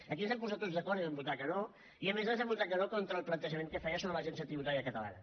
aquí ens vam posar tots d’acord i vam votar que no i a més vam votar que no contra el plantejament que feia sobre l’agència tributària catalana